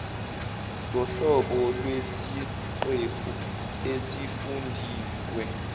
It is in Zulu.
zohlobo lwesiqephu esifundiwe